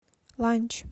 ланч